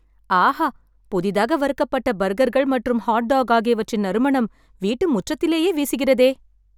ஆஹா! புதிதாக வறுக்கப்பட்ட பர்கர்கள் மற்றும் ஹாட் டாக் ஆகியவற்றின் நறுமணம் வீட்டு முற்றத்திலேயே வீசுகிறதே